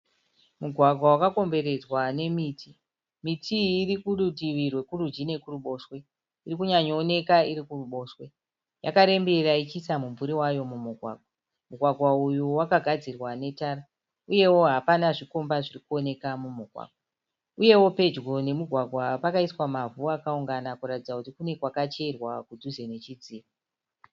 Mugwagwa wakakomberedzwa nemiti. Miti iyii iri kurutivi rwekurudyi nekuruboshwe. Iri kunyanyo onekwa iri kuruboshwe. Yakarembera ichiisa mimvuri wayo mumugwagwa. Mugwagwa uyu wakagadzirwa netara. Uyewo hapana zvikomba zviri kuonekwa mumugwagwa. Uyewo Pedyo nemugwagwa pakaisa mavhu akaungana kuratidza kuti kune kwakacherwa kudhuze nechidziro.